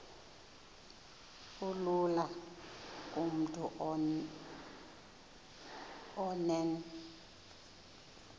kulula kumntu onen